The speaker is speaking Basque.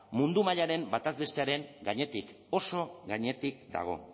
mundu mailaren bataz bestekoaren gainetik oso gainetik dago